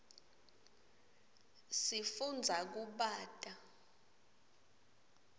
sifundza kubata